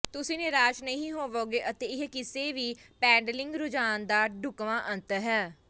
ਤੁਸੀਂ ਨਿਰਾਸ਼ ਨਹੀਂ ਹੋਵੋਗੇ ਅਤੇ ਇਹ ਕਿਸੇ ਵੀ ਪੈਡਲਿੰਗ ਰੁਝਾਣ ਦਾ ਢੁਕਵਾਂ ਅੰਤ ਹੈ